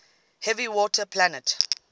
heavy water plant